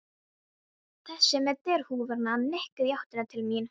Þessi með derhúfuna nikkaði í áttina til mín.